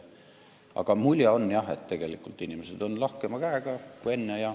Aga mulje on jah selline, et inimesed on lahkema käega kui enne.